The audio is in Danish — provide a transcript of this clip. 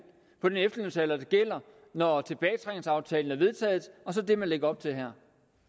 på den efterlønsalder der gælder når tilbagetrækningsaftalen er vedtaget og så den man lægger op til her